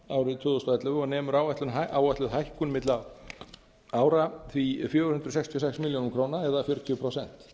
króna árið tvö þúsund og ellefu og nemur áætluð hækkun milli ára því fjögur hundruð sextíu og sex milljónir króna það er fjörutíu prósent